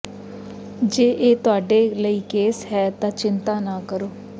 ਜੇ ਇਹ ਤੁਹਾਡੇ ਲਈ ਕੇਸ ਹੈ ਤਾਂ ਚਿੰਤਾ ਨਾ ਕਰੋ